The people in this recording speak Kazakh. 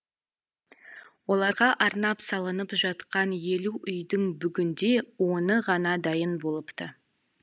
оларға арнап салынып жатқан елу үйдің бүгінде оны ғана дайын болыпты